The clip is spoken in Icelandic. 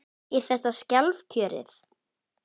Er þetta sjálfkjörið?